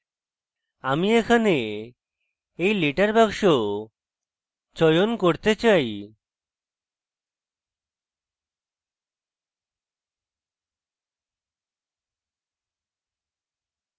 আমি এখানে এই letter বাক্স চয়ন করতে চাই